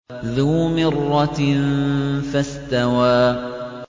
ذُو مِرَّةٍ فَاسْتَوَىٰ